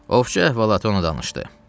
Ovçu əhvalat ona danışdı.